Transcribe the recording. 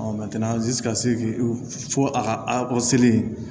fo a ka a kɔlɔsili